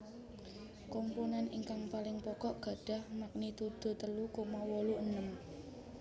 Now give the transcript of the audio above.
Komponen ingkang paling pokok gadhah magnitudo telu koma wolu enem